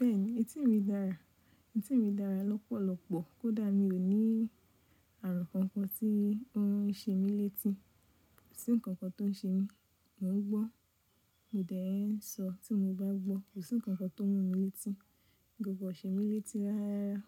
Bẹ́ẹ̀ni, etí mi dára. Etí mi dára lọ́pọ̀lọpọ̀. Kódà mi ò ní ààrùn kankan tí ó ń ṣe mí létí. Kò sí ǹkankan tó ń ṣe mí, mò ń gbọ́, mo dẹ̀ ń sọ tí mo bá gbọ́. Kò sí ǹkankan tó mú mi létí. Gbogbo ọ̀ ṣe mí létí ráárá.